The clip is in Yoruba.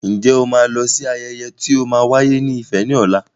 Ǹjẹ́ o ma lọ sí ayẹyẹ tí o ma wáyé ní Ifẹ̀ ní ọ̀la?